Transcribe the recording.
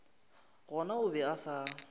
gona o be a sa